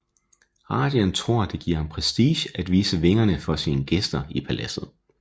Rajan tror det giver ham prestige at vise vingerne for sine gæster i paladset